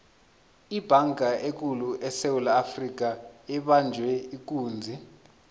ibhanga ekulu esewula afrika ibanjwe ikunzi